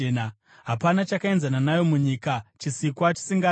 Hapana chakaenzana nayo munyika, chisikwa chisingatyi.